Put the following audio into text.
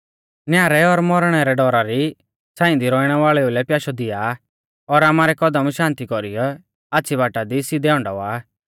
न्यारै और मौरणै रै डौरा री छ़ांई दी रौइणै वाल़ेऊ लै पयाशौ दिआ और आमारै कदम शान्ति कौरीयौ आच़्छ़ी बाटा दी सिधै हंडावा